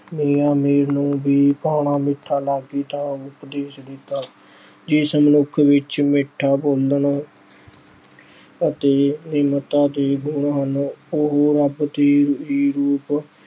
ਮੀਆਂ ਮੀਰ ਨੇਵੀ ਭਾਣਾ ਮਿੱਠਾ ਲਾਗੇ ਦਾ ਉਪਦੇਸ਼ ਦਿੱਤਾ। ਜਿਸ ਮਨੁੱਖ ਵਿੱਚ ਮਿੱਠਾ ਬੋਲਣ ਅਤੇ ਨਿਮਰਤਾ ਦੇ ਗੁਣ ਹਨ, ਉਹ ਰੱਬ ਦੇ ਵੀ ਰੂਪ